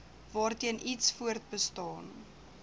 waarteen iets voortbestaan